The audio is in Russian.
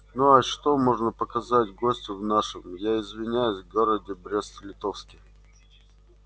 ну а что можно показать гостю в нашем я извиняюсь городе брест литовске